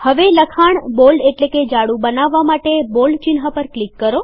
હવે લખાણ જાડું બનાવવા માટે બોલ્ડ ચિહ્ન પર ક્લિક કરો